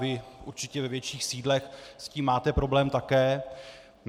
Vy určitě ve větších sídlech s tím máte problém také.